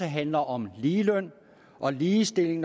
handler om ligeløn og ligestilling